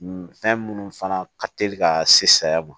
Fɛn minnu fana ka teli ka se saya ma